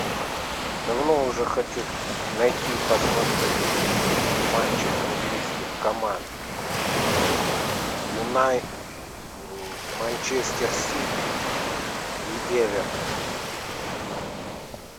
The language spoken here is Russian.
давно уже хочу найти посмотреть матчи английских команд манчестер сити и эвертон